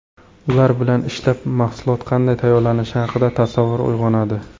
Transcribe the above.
Ular bilan ishlab, mahsulot qanday tayyorlanishi haqida tasavvur uyg‘onadi.